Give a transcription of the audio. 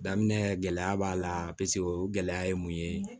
Daminɛ gɛlɛya b'a la o gɛlɛya ye mun ye